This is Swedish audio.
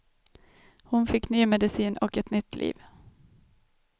Hon fick ny medicin och ett nytt liv.